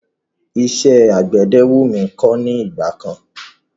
Iṣẹ́ àgbẹ̀dẹ wú mí kọ́ ní ìgbà kan.